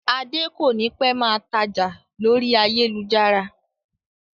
Adé kònípẹ́ máa tája lórí ayélujára